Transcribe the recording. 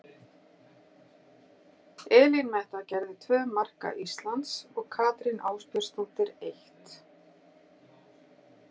Elín Metta gerði tvö marka Íslands og Katrín Ásbjörnsdóttir eitt.